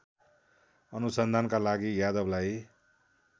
अनुसन्धानका लागि यादवलाई